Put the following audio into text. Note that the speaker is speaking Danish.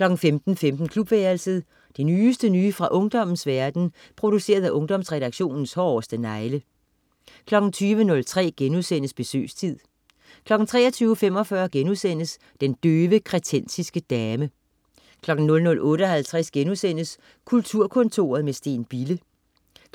15.15 Klubværelset. Det nyeste nye fra ungdommens verden, produceret af Ungdomsredaktionens hårdeste negle 20.03 Besøgstid* 23.45 Den døve kretensiske dame* 00.58 Kulturkontoret med Steen Bille*